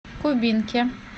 кубинке